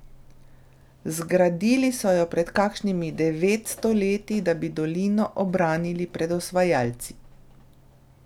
Zgradili so jo pred kakšnimi devetsto leti, da bi dolino obranili pred osvajalci.